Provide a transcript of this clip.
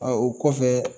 o kɔfɛ